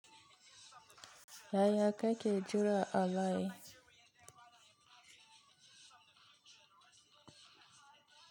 Yaya kake jira a layi?